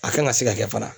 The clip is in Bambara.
A kan ka se ka kɛ fana